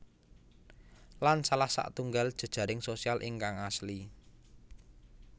Lan salah satunggal jejaring sosial ingkang asli